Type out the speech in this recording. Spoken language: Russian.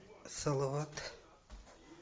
салават